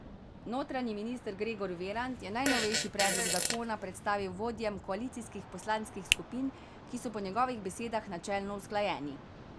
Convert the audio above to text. Notranji minister Gregor Virant je najnovejši predlog zakona predstavil vodjem koalicijskih poslanskih skupin, ki so po njegovih besedah načelno usklajeni.